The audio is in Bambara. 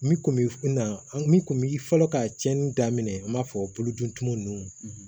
Min kun bi na min kun bi fɔlɔ ka tiɲɛni daminɛ an b'a fɔ bolo dun tun nunnu